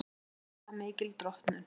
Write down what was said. Lygilega mikil drottnun